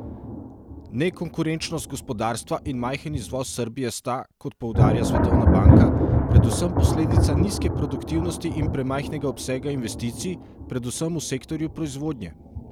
Nekonkurenčnost gospodarstva in majhen izvoz Srbije sta, kot poudarja Svetovna banka, predvsem posledica nizke produktivnosti in premajhnega obsega investicij, predvsem v sektorju proizvodnje.